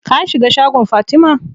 Ka shiga shagon Fatima?